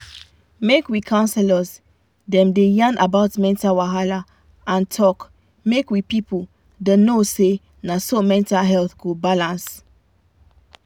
make we counselors dem da yan about mental wahala and talk make we people da know na so mental health go balance